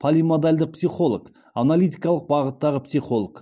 полимодальдық психолог аналитикалық бағыттағы психолог